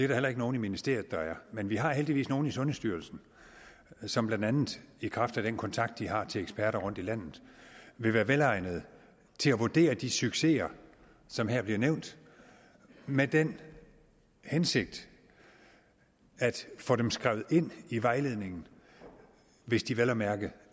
der heller ikke nogen i ministeriet der er men vi har heldigvis nogle i sundhedsstyrelsen som blandt andet i kraft af den kontakt de har til eksperter rundt i landet vil være velegnede til at vurdere de succeser som her bliver nævnt med den hensigt at få dem skrevet ind i vejledningen hvis de vel at mærke